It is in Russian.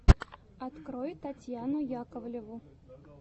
открой татьяну яковлеву